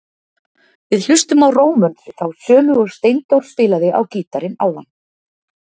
Við hlustum á Rómönsu, þá sömu og Steindór spilaði á gítarinn áðan.